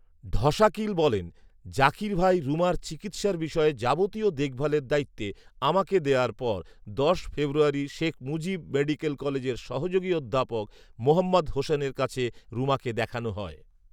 ঢশাকিল বলেন, জাকির ভাই রুমার চিকিৎসার বিষয়ে যাবতীয় দেখভালের দায়িত্বে আমাকে দেয়ার পর দশ ফেব্রুয়ারি শেখ মুজিব মেডিকেল কলেজের সহযোগী অধ্যাপক মোহাম্মদ হোসেনের কাছে রুমাকে দেখানো হয়